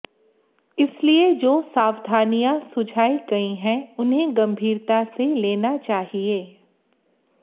इसलिए जो सावधानियां सुझाई गई हैं उन्हें गम्भीरता से लेना चाहिए